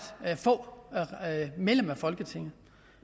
få medlemmer af folketinget